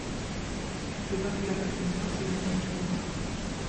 прибавь яркость иллюминации на три пункта